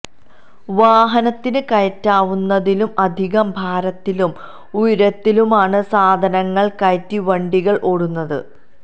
വാഹനത്തിന് കയറ്റാവുന്നതിലും അധികം ഭാരത്തിലും ഉയരത്തിലുമാണ് സാധനങ്ങള് കയറ്റി വണ്ടികള് ഓടുന്നത്